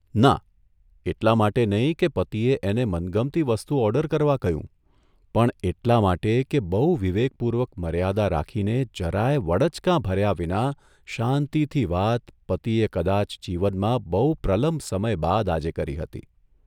ના, એટલા માટે નહીં કે પતિએ એને મનગમતી વસ્તુ ઓર્ડર કરવા કહ્યું, પણ એટલા માટે કે બહુ વિવેકપૂર્વક મર્યાદા રાખીને જરાયે વડચકાં ભર્યા વિના શાંતિથી વાત પતિએ કદાચ જીવનમાં બહુ પ્રલંબ સમય બાદ આજે કરી હતી.